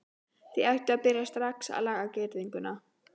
Þið ættuð að byrja strax að laga girðinguna.